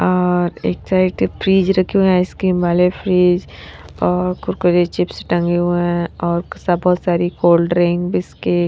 और एक side fridge रखे हुए हैं आइसक्रीम वाले फ्रिज और कुरकुरे चिप्स टंगे हुए हैं और सब बहुत सारी कोल्डड्रिंक बिस्कट --